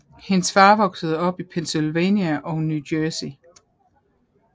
Hendes far voksede op i Pennsylvania og New Jersey